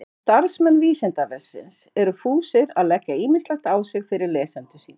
En starfsmenn Vísindavefsins eru fúsir að leggja ýmislegt á sig fyrir lesendur sína.